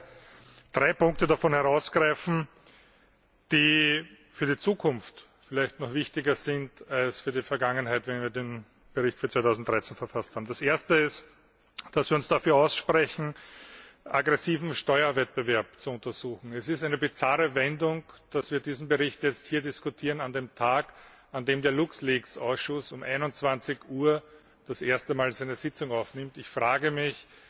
Ich möchte drei Punkte davon herausgreifen, die vielleicht für die Zukunft noch wichtiger sind als für die Vergangenheit, wenn wir den Bericht für das Jahr 2013 verfasst haben. Das Erste ist, dass wir uns dafür aussprechen, aggressiven Steuerwettbewerb zu untersuchen. Es ist eine bizarre Wendung, dass wir diesen Bericht hier an dem Tag diskutieren, an dem der Luxleaks Ausschuss um 21 Uhr das erste Mal zu einer Sitzung zusammenkommt. Ich frage mich,